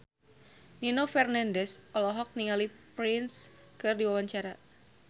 Nino Fernandez olohok ningali Prince keur diwawancara